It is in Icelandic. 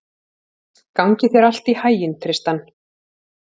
Gangi þér allt í haginn, Tristan.